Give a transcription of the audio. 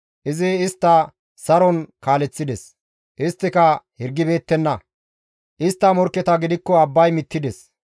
Izi istta saron kaaleththides; isttika hirgibeettenna; istta morkketa gidikko abbay mittides.